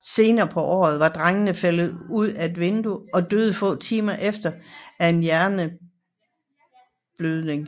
Senere på året var drengen faldet ud af et vindue og døde få timer efter af en hjerneblødning